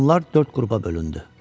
Onlar dörd qrupa bölündü.